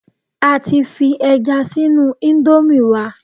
A ti fi ẹja sínú íńdómì wa